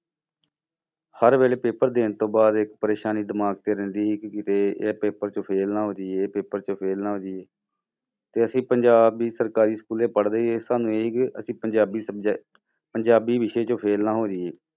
ਹਰ ਵੇਲੇ ਪੇਪਰ ਦੇਣ ਤੋਂ ਬਾਅਦ ਇੱਕ ਪਰੇਸਾਨੀ ਦਿਮਾਗ ਤੇ ਰਹਿੰਦੀ ਹੈ ਕਿ ਕਿਤੇ ਇਹ ਪੇਪਰ ਚੋਂ fail ਨਾ ਹੋ ਜਾਈਏ, ਇਹ ਪੇਪਰ ਚੋਂ fail ਨਾ ਹੋ ਜਾਈਏ, ਤੇ ਅਸੀਂ ਪੰਜਾਬੀ ਸਰਕਾਰੀ ਸਕੂਲੇ ਪੜ੍ਹਦੇ ਸੀ ਸਾਨੂੰ ਇਹ ਕਿ ਅਸੀਂ ਪੰਜਾਬੀ ਸਬਜੈ~ ਪੰਜਾਬੀ ਵਿਸ਼ੇ ਚੋਂ fail ਨਾ ਹੋ ਜਾਈਏ।